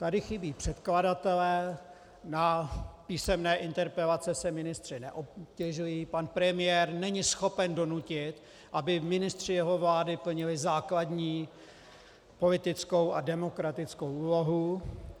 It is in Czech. Tady chybí předkladatelé, na písemné interpelace se ministři neobtěžují, pan premiér není schopen donutit, aby ministři jeho vlády plnili základní politickou a demokratickou úlohu.